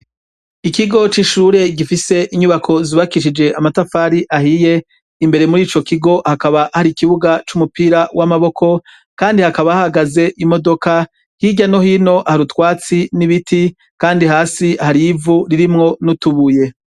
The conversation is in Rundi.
Ikigo c'ishure gifise inyubako zubakishije amatafari ahiye imbere muri ico kigo hakaba hari ikibuga c'umupira w'amaboko, kandi hakaba hagaze imodoka hirya nohino harutwatsi n'ibiti, kandi hasi harivu ririmwo n'utubuye.